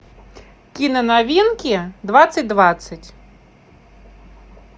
киноновинки двадцать двадцать